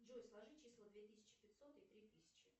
джой сложи числа две тысячи пятьсот и три тысячи